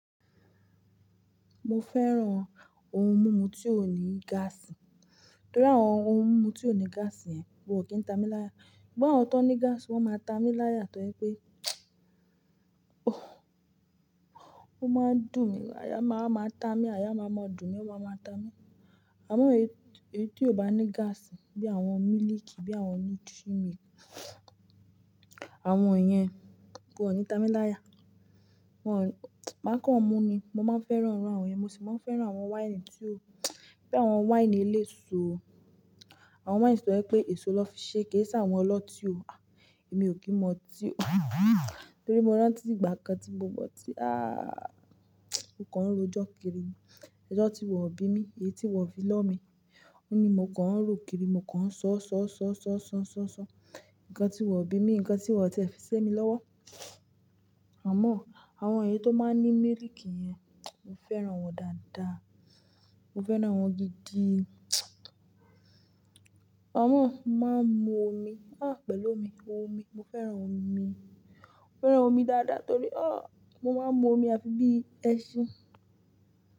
Mo fẹ́ran ohun mímu tí ó ní gáàsì. Torí àwọn ohun mímu tí ó ní gáàsì yẹn wón kò kí ń ta mí láya. Ṣùgbọ́n àwọn tó ní gáàsì wọ́n máa ta mí láya, torí pé ó máa ń dùn mí, aya máa máa ta mí, aya máa mọ dùn mí, aya máa máa ta mí. Àmọ́ èyí tí kò bá ní gáàsì bí àwọn mílìkì, bí àwọn nutri milk, àwọn yẹn kò ní ta mí láya. Wọ́n, máa kàn mu ni. Mo máa ń fẹ́ran àwọn ẹ, mo sì máa ń fẹ́ran àwọn wáìnì tí ó, bí àwọn wáìnì eléso. Àwọn wáìnì tí o je pé èso lọ́ fi ṣe, kì í sì àwọn ọlọ́tí o. À, èmi ò kí ń mọ tí o. Torí mo rántí ìgbà kan tí mo mọ̀ tí, ah mo kan ń rojọ́ kiri. Ẹ̀jọ̀ tí wọ́n bí mi, èyí tí wọ́n fi lọ́ mi. Ó ní mo kàn ń ro kiri, mo kàn ń ṣọ́, ṣọ́, ṣọ́, ṣọ́, ṣọ́, ṣọ́, ṣọ́. Ǹkan tí wọ́n bí mi, ǹkan tí wọ́n tiẹ̀ fi sé mi lọ́wọ́. Àmọ́ àwọn èyí tó máa ń ní mílìkì yẹn, mo fẹ́ran wọn dáadáa. Mo fẹ́ran wọn gidi. Amo mo máa ń mu omi, ha pẹ̀lú omi. Omi, mo fẹ́ran omi mi. Mo fẹ́ran omi dáadáa torí ọ, mo máa ń mu omi àfi bí ẹṣin.